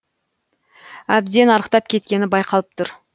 әбден арықтап кеткені байқалып тұр